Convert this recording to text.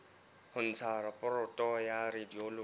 ho ntsha raporoto ya radiology